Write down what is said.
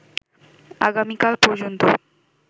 আগামীকাল পর্যন্ত